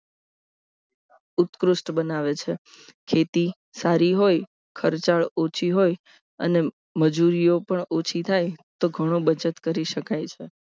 ઉત્કૃષ્ટ બનાવે છે જેથી સારી હોય ખર્ચાળ ઓછી હોય અને મજૂરીઓ પણ ઓછી થાય તો ઘણો બચત કરી શકાય છે